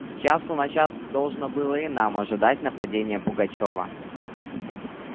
с часу на час должно было и нам ожидать нападения пугачёва